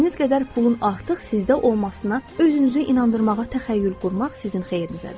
İstədiyiniz qədər pulun artıq sizdə olmasına özünüzü inandırmağa təxəyyül qurmaq sizin xeyrinizədir.